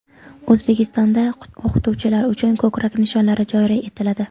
O‘zbekistonda o‘qituvchilar uchun ko‘krak nishonlari joriy etiladi.